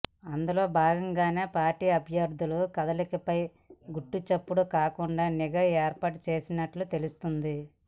అందులో భాగంగానే పార్టీ అభ్యర్థుల కదలికలపై గుట్టుచప్పుడు కాకుండా నిఘా ఏర్పాటు చేసినట్టు తెలుస్తోంది